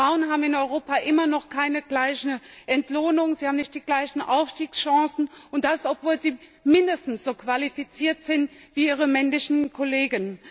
Frauen haben in Europa immer noch keine gleiche Entlohnung, sie haben nicht die gleichen Aufstiegschancen, und das obwohl sie mindestens so qualifiziert sind wie ihre männlichen Kollegen.